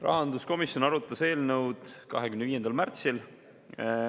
Rahanduskomisjon arutas eelnõu 25. märtsil.